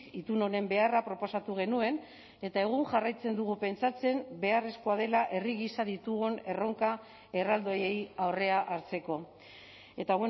itun honen beharra proposatu genuen eta egun jarraitzen dugu pentsatzen beharrezkoa dela herri gisa ditugun erronka erraldoiei aurrea hartzeko eta